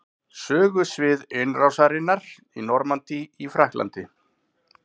Sögusvið innrásarinnar í Normandí í Frakklandi.